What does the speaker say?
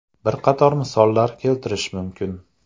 Bir qator misollar keltirishim mumkin.